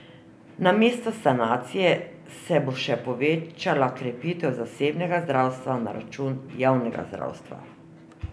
Namesto sanacije se bo še povečala krepitev zasebnega zdravstva na račun javnega zdravstva.